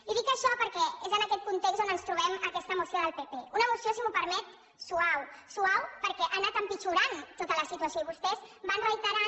i dic això perquè és en aquest context on ens trobem aquesta moció del pp una moció si m’ho permet suau suau perquè ha anat empitjorant tota la situació i vostès van reiterant